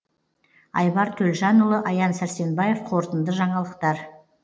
айбар төлжанұлы аян сәрсенбаев қорытынды жаңалықтар